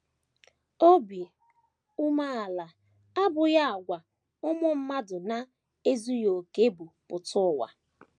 Obi umeala abụghị àgwà ụmụ mmadụ na - ezughị okè bu pụta ụwa.